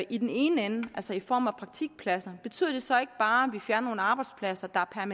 i den ene ende altså i form af praktikpladser betyder det så ikke bare at vi fjerner nogle arbejdspladser der er